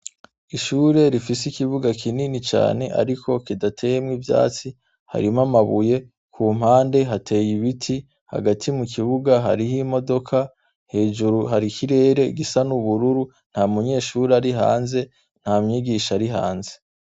Ishure rifise ikibuga kinini cane ariko kidateyemwo ivyatsi, harimwo amabuye, ku mpande hateye ibiti. Hagati mu kibuga hariyo imodoka, hejuru hari ikirere gusa n'ubururu. Nta munyeshure ari hanze, nta mwigisha ari hanze.